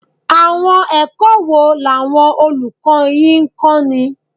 Àwọn ẹ̀kọ́ wo làwọn olùkọ́ yín ń kọ́ni?